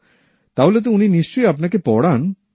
তাহলে তো উনি নিশ্চই আপনাকে পড়ান